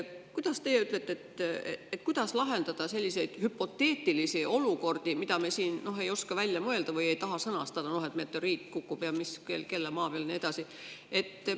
Mis teie ütlete, kuidas lahendada selliseid hüpoteetilisi olukordi, mida me siin ei oska välja mõelda või ei taha sõnastada, nagu see, et meteoriit kukub, ja kelle maa peal ja nii edasi?